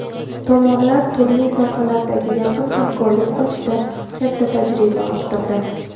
Tomonlar turli sohalardagi yaqin hamkorlik qilishda katta tajriba orttirdi.